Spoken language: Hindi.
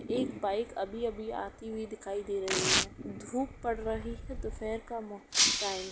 एक बाइक अभी-अभी आती हुई दिखाई दे रही है। धूप पड़ रही है। दुपेर का टाइम है।